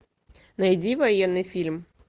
найди военный фильм